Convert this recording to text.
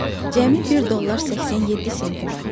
Cəmi 1 dollar 87 centi var idi.